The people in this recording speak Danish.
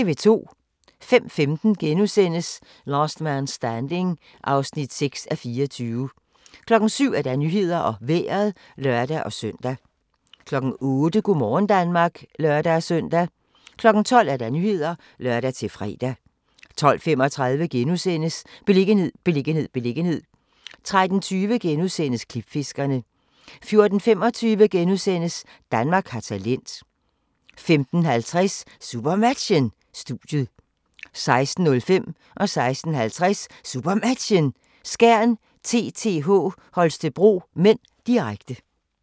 05:15: Last Man Standing (6:24)* 07:00: Nyhederne og Vejret (lør-søn) 08:00: Go' morgen Danmark (lør-søn) 12:00: Nyhederne (lør-fre) 12:35: Beliggenhed, beliggenhed, beliggenhed * 13:20: Klipfiskerne * 14:25: Danmark har talent * 15:50: SuperMatchen: Studiet 16:05: SuperMatchen: Skjern-TTH Holstebro (m), direkte 16:50: SuperMatchen: Skjern-TTH Holstebro (m), direkte